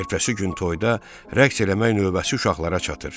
Ertəsi gün toyda rəqs eləmək növbəsi uşaqlara çatır.